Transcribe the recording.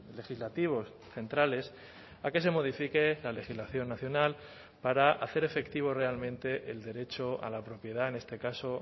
legislativos centrales a que se modifique la legislación nacional para hacer efectivo realmente el derecho a la propiedad en este caso